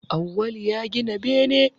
Awwal ya gina bene